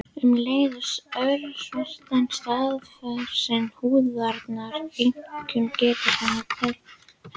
Um leið örvast starfsemi húðarinnar, einkum geta hennar til hitatemprunar.